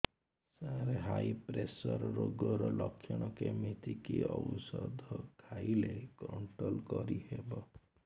ସାର high pressure ରୋଗର ଲଖଣ କେମିତି କି ଓଷଧ ଖାଇଲେ କଂଟ୍ରୋଲ କରିହେବ